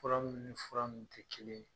Fura minnu nin fura min tɛ kelen ye.